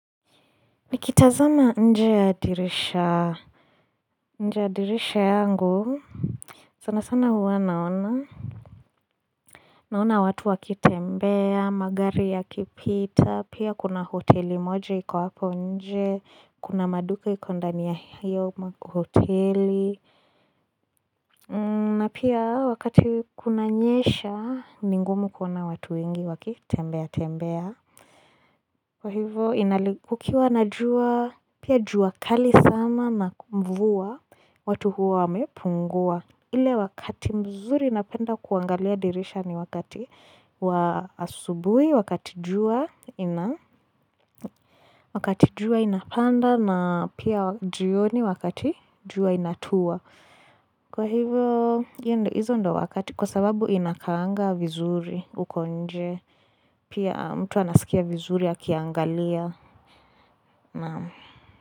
Nikita zama nje ya dirisha nje ya dirisha yangu sana sana huwa naona Naona watu wakitembea, magari ya kipita, pia kuna hoteli moja yiko hapo nje, kuna maduka iko ndani ya hiyo hoteli na pia wakati kuna nyesha, mingumu kuna watu wengi wakitembea tembea Kwa hivyo inalikukiwa na jua, pia jua kali sana na mvua, watu huwa wamepungua. Ile wakati mzuri napenda kuangalia dirisha ni wakati wa asubuhi, wakati jua inapanda na pia jioni wakati juwa inatua. Kwa hivyo hizo ndio wakati kwa sababu inakaanga vizuri uko nje, pia mtu anasikia vizuri ya akiangalia. Naam.